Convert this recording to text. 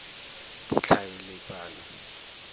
ditlhaeletsano